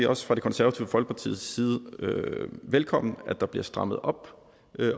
også fra det konservative folkepartis side velkomment at der bliver strammet op